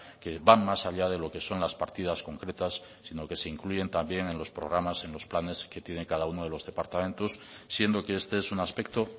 que van más allá de lo que son las partidas concretas sino que se incluyen también en los programas en los planes que tiene cada uno de los departamentos siendo que este es un aspecto